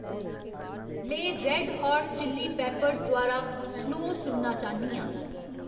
में Red Hot Chili Peppers द्वारा Snow सुनना चाह्न्नी आं